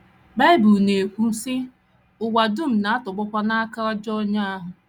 Bible na - ekwu, sị: “ Ụwa dum na - atọgbọkwa n’aka ajọ onye ahụ. ”